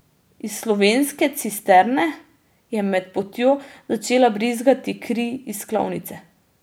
Iz slovenske cisterne je med potjo začela brizgati kri iz klavnice.